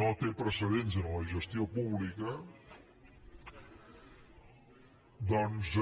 no té precedents en la gestió pública doncs